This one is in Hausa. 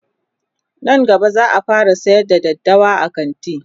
Nan gaba zaa fara sayar da daddawa a kanti